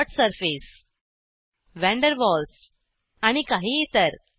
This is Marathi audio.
dot surface one their walls आणि काही इतर